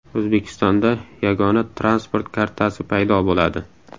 O‘zbekistonda yagona transport kartasi paydo bo‘ladi.